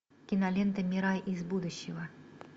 кинолента мира из будущего